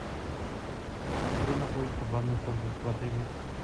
где находится банный комплекс в отеле